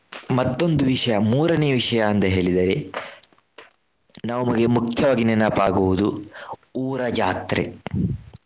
ಮತ್ತೊಂದು ವಿಷಯ ಮೂರನೇ ವಿಷಯ ಅಂತ ಹೇಳಿದರೆ ನಮಗೆ ಮುಖ್ಯವಾಗಿ ನೆನಪಾಗುವುದು ಊರ ಜಾತ್ರೆ.